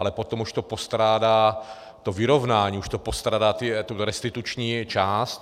Ale potom už to postrádá, to vyrovnání, už to postrádá tu restituční část.